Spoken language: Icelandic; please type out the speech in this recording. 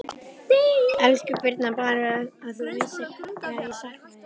Elsku Birna, Bara að þú vissir hvað ég sakna þín.